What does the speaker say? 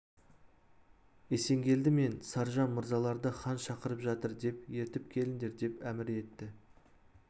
есенгелді мен саржан мырзаларды хан шақырып жатыр деп ертіп келіңдер деп әмір етті